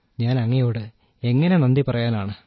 ഞാൻ അങ്ങയോട് എങ്ങനെ നന്ദി പറയാനാണ്